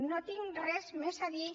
no tinc res més a dir